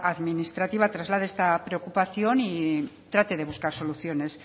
administrativa traslade esta preocupación y trate de buscar soluciones